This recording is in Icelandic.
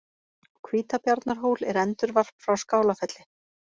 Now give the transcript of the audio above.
Á Hvítabjarnarhól er endurvarp frá Skálafelli.